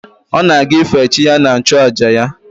Ọ na-aga ife chi ya na nchụàjà ya